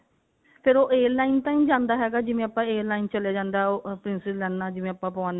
ਫ਼ੇਰ ਉਹ air line ਤਾਂ ਨਹੀ ਜਾਂਦਾ ਜਿਵੇਂ ਆਪਾਂ air line ਚਲਾ ਜਾਂਦਾ princess ਲਾਈਨਾ ਜਿਵੇਂ ਆਪਾਂ ਪਵਾਨੇ ਆਂ